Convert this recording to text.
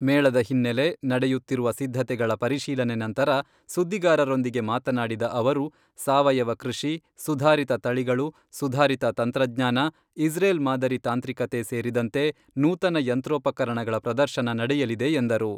ಮೇಳದ ಹಿನ್ನೆಲೆ ನಡೆಯುತ್ತಿರುವ ಸಿದ್ಧತೆಗಳ ಪರಿಶೀಲನೆ ನಂತರ ಸುದ್ದಿಗಾರರೊಂದಿಗೆ ಮಾತನಾಡಿದ ಅವರು, ಸಾವಯವ ಕೃಷಿ, ಸುಧಾರಿತ ತಳಿಗಳು, ಸುಧಾರಿತ ತಂತ್ರಜ್ಞಾನ, ಇಸ್ರೇಲ್ ಮಾದರಿ ತಾಂತ್ರಿಕತೆ ಸೇರಿದಂತೆ ನೂತನ ಯಂತ್ರೋಪಕರಣಗಳ ಪ್ರದರ್ಶನ ನಡೆಯಲಿದೆ ಎಂದರು.